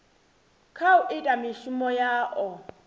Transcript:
kha u ita mishumo yao